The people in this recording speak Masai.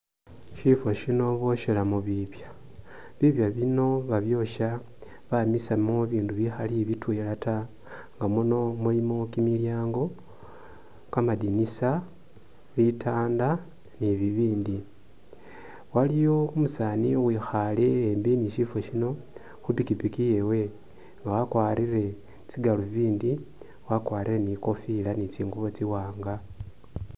Shifo shino booshelamo bibya, bibya bino babyosha bamisamo bibindu bikhali bitwela ta nga muno mulimo kimilyango, kamadinisa, bitanda ni bibindi waliwo umusaani uwikhale e'mbi ni shifo shino khupikipiki yewe nga wakwalire tsigaluvindi, wakwalire ni kofila ni tsingubo tsiwaanga